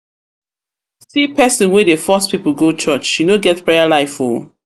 pesin wey dey force pipu go church she no get prayer life o.